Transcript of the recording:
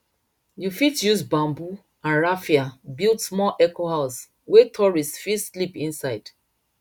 you fit use bamboo and raffia build small ecohouse wey tourists fit sleep inside